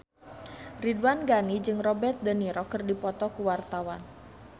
Ridwan Ghani jeung Robert de Niro keur dipoto ku wartawan